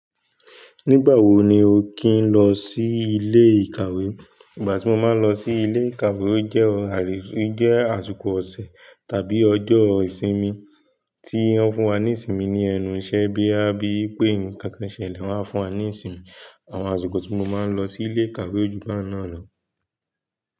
Nígbà wo ni o ki ń lọ sí ilé ìkàwé? Ìgbà tí mo máa ń lọ sí ilé ìkàwé ó jẹ́ àsìkò ọ̀sẹ̀ tàbí ọjọ́ ìsinmi tí wón fún wa ní ìsinmi ní ẹnu iṣẹ́ bóyá bíi wípé nǹkankan ṣẹlẹ̀ wọ́n wá fún wa ní ìsinmi. Àwọn àsìkọ̀ tíí mo máa ń lọ sí'lé ìkàwé ò jú bahun náà lọ.